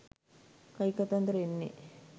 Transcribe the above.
කයිකතන්දර එන්නේ